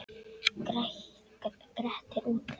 Grettir útlagi.